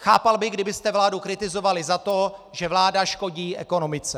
Chápal bych, kdybyste vládu kritizovali za to, že vláda škodí ekonomice.